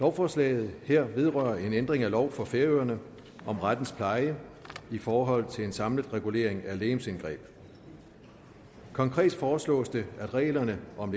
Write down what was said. lovforslaget her vedrører en ændring af lov for færøerne om rettens pleje i forhold til en samlet regulering af legemsindgreb konkret foreslås det at reglerne om